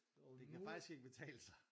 Det kan faktisk ikke betale sig